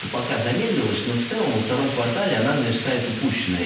пока замедлилось но в целом во втором квартале она наверстает упущенное